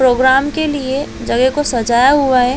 Programme के लिए जगह को सजाया हुआ हैं।